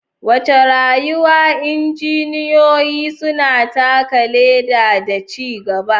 Wace rawa injiniyoyi suna taka leda da ci gaba?